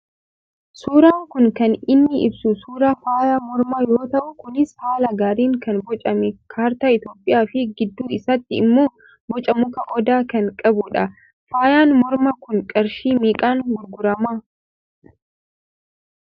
Suuraan kun kan inni ibsu suuraa faaya mormaa yoo ta'u kunis haala gaariin kan bocame kaartaa Itoophiyaafi gidduu isaatti immoo boca muka Odaa kan qabu dha. Faayaan mormaa kun qarshii meeqaan gurguramaa?